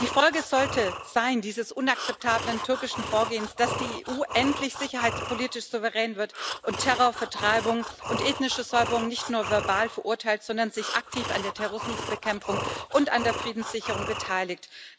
Die Folge dieses unakzeptablen türkischen Vorgehens sollte sein, dass die EU endlich sicherheitspolitisch souverän wird und Terror, Vertreibung und ethnische Säuberung nicht nur verbal verurteilt, sondern sich aktiv an der Terrorismusbekämpfung und an der Friedenssicherung beteiligt.